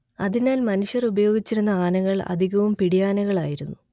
അതിനാൽ മനുഷ്യർ ഉപയോഗിച്ചിരുന്ന ആനകൾ അധികവും പിടിയാനകളായിരുന്നു